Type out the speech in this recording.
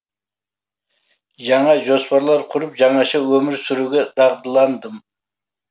жаңа жоспарлар құрып жаңаша өмір сүруге дағдыландым